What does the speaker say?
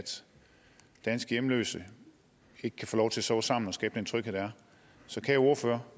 danske hjemløse ikke kan få lov til at sove sammen og skabe tryghed så kære ordfører